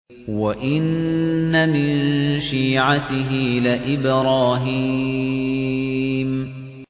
۞ وَإِنَّ مِن شِيعَتِهِ لَإِبْرَاهِيمَ